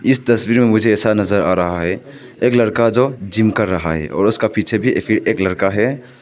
इस तस्वीर में मुझे ऐसा नजर आ रहा है एक लड़का जो जिम कर रहा है और उसका पीछे भी एक लड़का है।